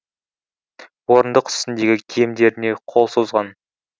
орындық үстіндегі киімдеріне қол созған